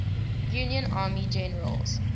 union army generals